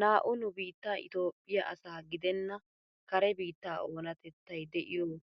Naa"u nu biittaa itoophphiyaa asa gidenna kare biittaa oonatettay de'iyoo